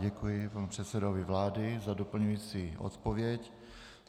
Děkuji panu předsedovi vlády za doplňující odpověď.